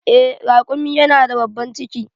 Eh, raƙumi yana da babban ciki.